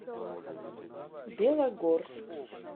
белогорск